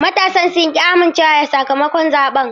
Matasan sun ki amincewa da sakamakon zaɓen.